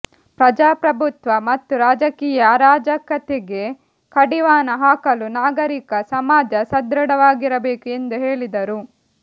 ಪ್ರಜಾಪ್ರಭುತ್ವ ಮತ್ತು ರಾಜಕೀಯ ಅರಾಜಕತೆಗೆ ಕಡಿವಾಣ ಹಾಕಲು ನಾಗರಿಕ ಸಮಾಜ ಸದೃಢವಾಗಿರಬೇಕು ಎಂದು ಹೇಳಿದರು